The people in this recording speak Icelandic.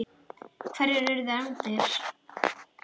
Hverjar urðu efndir?